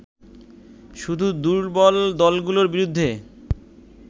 শুধু দুর্বল দলগুলোর বিরুদ্ধে